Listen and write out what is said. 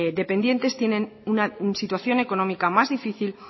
dependientes tienen una situación económica más difícil